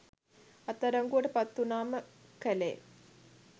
අත් අඩංගුවට පත් වුනාම කලේ